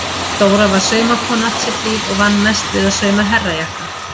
Dóra var saumakona allt sitt líf og vann mest við að sauma herrajakka.